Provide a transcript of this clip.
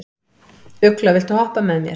Ugla, viltu hoppa með mér?